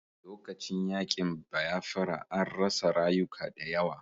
Lokacin yaƙin bayafra an rasa rayuka da yawa